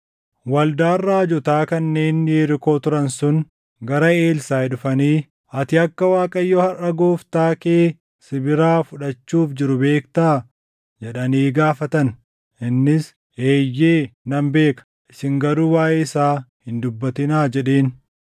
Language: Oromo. Waldaan raajotaa kanneen Yerikoo turan sun gara Elsaaʼi dhufanii, “Ati akka Waaqayyo harʼa gooftaa kee si biraa fudhachuuf jiru beektaa?” jedhanii gaafatan. Innis, “Eeyyee nan beeka; isin garuu waaʼee isaa hin dubbatinaa” jedheen.